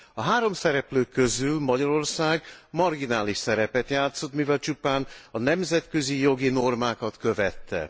A három szereplő közül Magyarország marginális szerepet játszott, mivel csupán a nemzetközi jogi normákat követte.